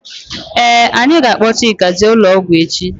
Ee anyị ga -akpo Chika jee ụlọ ọgwụ echi.